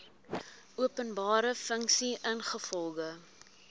openbare funksie ingevolge